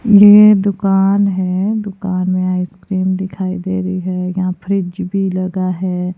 ये दुकान है दुकान में आइसक्रीम दिखाई दे रही है यहां फ्रिज भी लगा है।